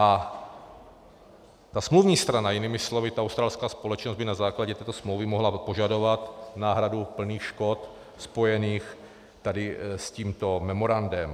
A ta smluvní strana, jinými slovy ta australská společnost, by na základě této smlouvy mohla požadovat náhradu plných škod spojených tady s tímto memorandem.